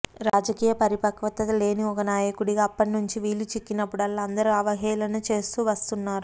రాజకీయ పరిపక్వత లేని ఒక నాయకుడిగా అప్పటి నుంచి వీలు చిక్కినప్పుడల్లా అందరూ అవహేళన చేస్తూ వస్తున్నారు